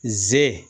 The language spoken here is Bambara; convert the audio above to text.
Ze